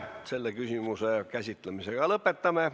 Selle küsimuse käsitlemise lõpetame.